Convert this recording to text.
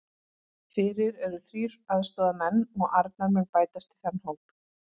Fyrir eru þrír aðstoðarmenn og Arnar mun bætast í þann hóp.